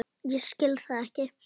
Ég skil það ekki!